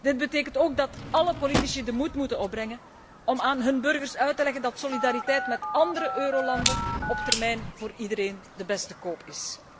Dit betekent ook dat alle politici de moed moeten opbrengen om aan hun burgers uit te leggen dat solidariteit met andere eurolanden op termijn voor iedereen de beste koop is.